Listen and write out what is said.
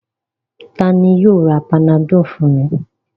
Ta ni yóò ra Panadol fún mi?